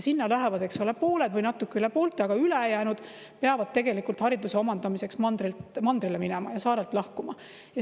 Sinna lähevad pooled või natuke üle poolte, aga ülejäänud peavad tegelikult hariduse omandamiseks mandrile minema ja saarelt lahkuma.